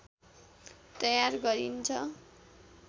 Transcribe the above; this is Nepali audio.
तयार गरिन्छ